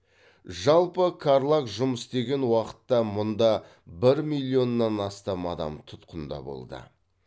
жалпы қарлаг жұмыс істеген уақытта мұнда бір миллионнан астам адам тұтқында болды